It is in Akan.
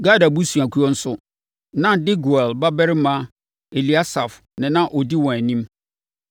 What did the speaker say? Gad abusuakuo nso, na Deguel babarima Eliasaf na na ɔdi wɔn anim.